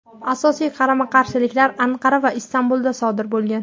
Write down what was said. Asosiy qarama-qarshiliklar Anqara va Istanbulda sodir bo‘lgan.